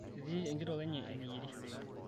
etii enkitok enye eneyierishoreki